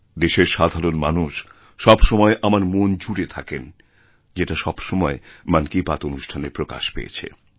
দেশের সাধারণ মানুষসবসময় আমার মন জুড়ে থাকেন যেটা সবসময় মন কি বাত অনুষ্ঠানে প্রকাশ পেয়েছে